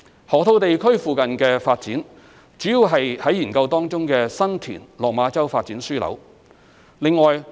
河套地區附近的發展主要是在研究當中的新田/落馬洲發展樞紐。